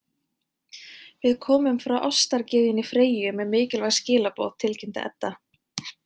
Við komum frá ástargyðjunni Freyju með mikilvæg skilaboð, tilkynnti Edda.